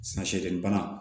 Na shɛde bana